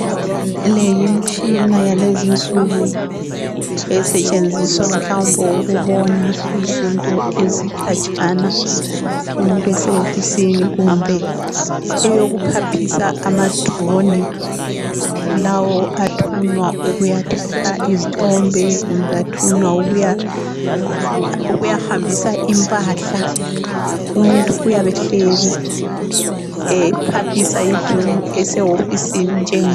Le yimitshina yalezinsuku esetshenziswa mhlawumbe ukubona izinto ezikhatshana umuntu esehofisini. Kumbe eyokuphaphisa ama drone lawo athunywa ukuyathatha izithombe kumbe athunywa ukuyahambisa impahla. Umuntu uyabe ehleli ephaphisa idrone esehofisini njengalo.